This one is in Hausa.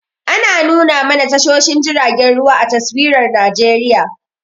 Ana nuna mana tashoshin jiragen ruwa a taswirar Najeriya.